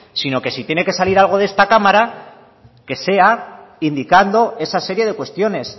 sino que si tiene que salir algo de esta cámara que sea indicando esa serie de cuestiones